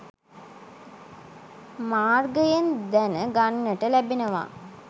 මාර්ගයෙන් දැන ගන්නට ලැබෙනවා.